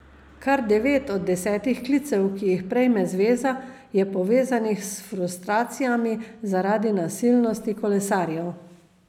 Kar devet od desetih klicev, ki ji prejme zveza, je povezanih s frustracijami zaradi nasilnosti kolesarjev.